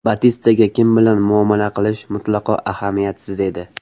Batistaga kim bilan muomala qilish mutlaqo ahamiyatsiz edi.